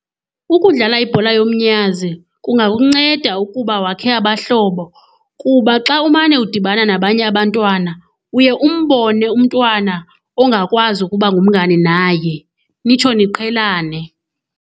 Ukudlala ibhola yomnyazi kungakunceda ukuba wakhe abahlobo kuba xa umane udibana nabanye abantwana, uye umbone umntwana ongakwazi ukuba ngumngane naye nitsho niqhelane.